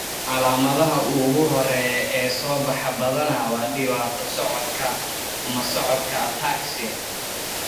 Calaamadaha ugu horreeya ee soo baxa badanaa waa dhibaato socodka, ama socodka ataxia.